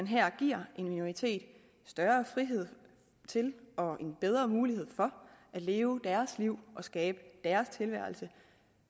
her giver en minoritet større frihed til og en bedre mulighed for at leve deres liv og skabe deres tilværelse